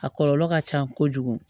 A kɔlɔlɔ ka ca kojugu